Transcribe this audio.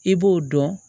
I b'o dɔn